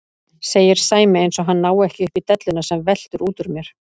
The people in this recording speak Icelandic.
segir Sæmi eins og hann nái ekki upp í delluna sem veltur út úr mér.